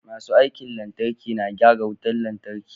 Masu aikin lantarki na gyara wutan lantarki